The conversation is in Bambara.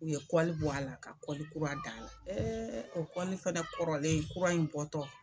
U ye bɔ a la ka kura d'a la o fana kɔrɔlen kura in bɔtɔ.